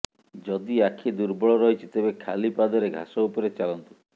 ଯଦି ଆଖି ଦୁର୍ବଳ ରହିଛି ତେବେ ଖାଲି ପାଦରେ ଘାସ ଉପରେ ଚାଲନ୍ତୁ